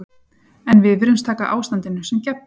En við virðumst taka ástandinu sem gefnu.